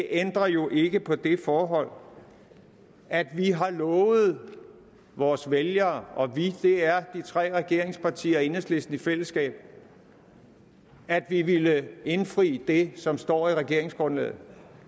ændrer jo ikke på det forhold at vi har lovet vores vælgere og vi er de tre regeringspartier og enhedslisten i fællesskab at vi ville indfri det som står i regeringsgrundlaget